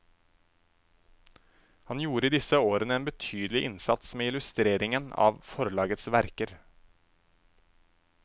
Han gjorde i disse årene en betydelig innsats med illustreringen av forlagets verker.